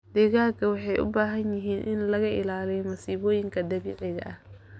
Digaagga waxay u baahan yihiin in laga ilaaliyo masiibooyinka dabiiciga ah.